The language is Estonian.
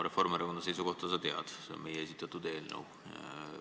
Reformierakonna seisukohta sa tead, see on see meie esitatud eelnõu.